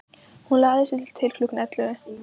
Hún lagði sig til klukkan ellefu.